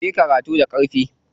Kuyi karatu da ƙarfi.